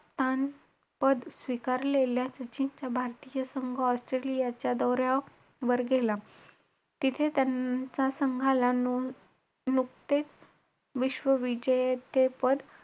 नाही तेवढे पण नाही हुशार माझ्या पेक्षा पण हुशार मुल आहेत इथे